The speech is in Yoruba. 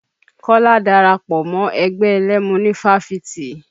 Kọ́lá dara pọ̀ mọ́ ẹgbẹ́ ẹlẹ́mu ní fáfitì.